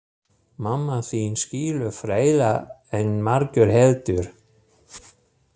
Mamma þín skilur fleira en margur heldur.